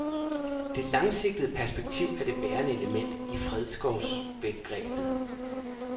Det langsigtede perspektiv er det bærende element i fredskovsbegrebet.